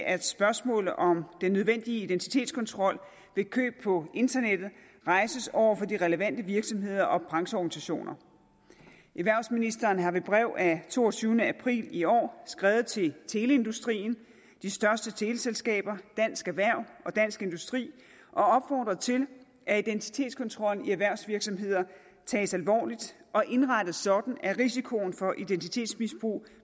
at spørgsmålet om den nødvendige identitetskontrol ved køb på internettet rejses over for de relevante virksomheder og brancheorganisationer erhvervsministeren har ved brev af toogtyvende april i år skrevet til teleindustrien de største teleselskaber dansk erhverv og dansk industri og opfordret til at identitetskontrollen i erhvervsvirksomheder tages alvorligt og indrettes sådan at risikoen for identitetsmisbrug